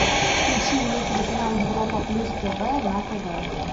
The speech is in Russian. включи мне телеканал европа плюс тв на тв